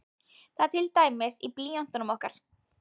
Það er til dæmis í blýöntunum okkar.